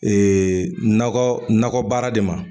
Eee nakɔ nakɔbara de ma